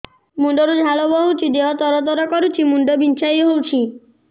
ମୁଣ୍ଡ ରୁ ଝାଳ ବହୁଛି ଦେହ ତର ତର କରୁଛି ମୁଣ୍ଡ ବିଞ୍ଛାଇ ହଉଛି